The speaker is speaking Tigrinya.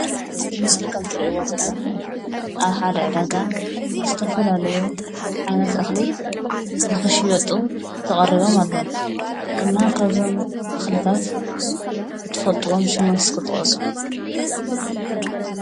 ኣብዚ ምስሊ ካብ እትርእይዎ ዘለኩም ኣብ ሓደ ዕዳጋ ዝተፈላለዩ ዓይነት እክሊ ንክሽየጡ ተቀሪቦም ኣለው። እና ካብ እዞም እክልታት እትፈልጥዎም ሹሞም እስኪ ጥቀሱ?